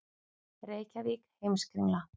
Reykjavík: Heimskringla.